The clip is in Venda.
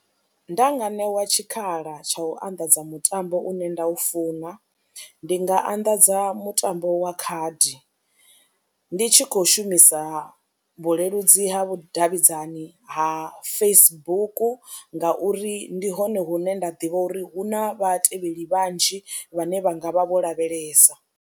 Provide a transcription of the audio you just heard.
Nda nga ṋewa tshikhala tsha u anḓadza mutambo une nda u funa ndi nga anḓadza mutambo wa khadi, ndi tshi khou shumisa vhuleludzi ha vhudavhidzani ha Facebook ngauri ndi hone hune nda ḓivha uri hu na vhatevheli vhanzhi vhane vha nga vha vho lavhelesa.